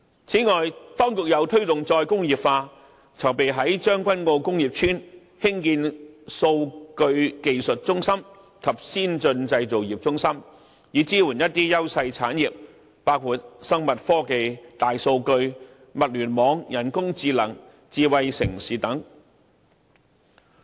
此外，當局又推動再工業化，籌備於將軍澳工業邨興建數據技術中心及先進製造業中心，以支援優勢產業，包括生物科技、大數據、物聯網、人工智能、智慧城市等。